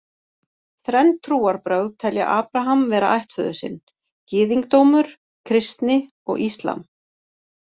Þrenn trúarbrögð telja Abraham vera ættföður sinn: gyðingdómur, kristni og íslam.